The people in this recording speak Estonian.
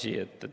Hea Mart!